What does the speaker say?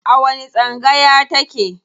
A wani tsangaya ta ke?